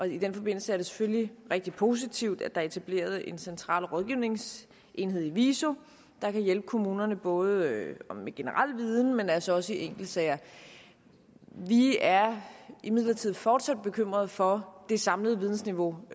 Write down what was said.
i den forbindelse er det selvfølgelig rigtig positivt at der er etableret en central rådgivningsenhed i viso der kan hjælpe kommunerne både med generel viden men altså også i enkeltsager vi er imidlertid fortsat bekymret for det samlede vidensniveau